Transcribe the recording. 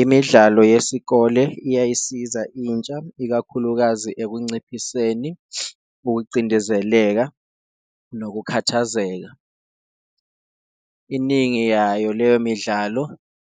Imidlalo yesikole iyayisiza intsha ikakhulukazi ekunciphiseni ukucindezeleka nokukhathazeka, iningi yayo leyo midlalo